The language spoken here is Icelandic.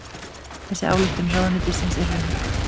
Þessi ályktun ráðuneytisins er röng